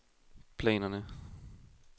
planerne